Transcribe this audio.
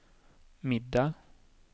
middag